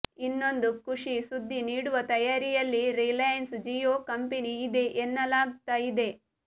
ಇನ್ಮೊಂದು ಖುಷಿ ಸುದ್ದಿ ನೀಡುವ ತಯಾರಿಯಲ್ಲಿ ರಿಲಾಯನ್ಸ್ ಜಿಯೋ ಕಂಪನಿ ಇದೆ ಎನ್ನಲಾಗ್ತಾ ಇದೆ